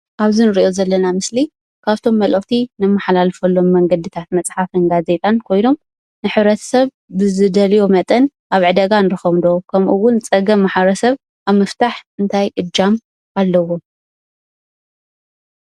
ኣብዚ እንሪኦ ዘለና ምስሊ ካብቶም መልእክቲ እነመሓላልፈሎም መንገድታት መፅሓፍን ጋዜጣን ኮይኖም ንሕብረተሰብ ሰብ ብዝደልዮ መጠን ኣብ ዕዳጋ ንረክቦም ዶ ከምኡ እውን ፀገም ማሕበረሰብ ኣብ ምፍታሕ እንታይ እጃም ኣለዎ?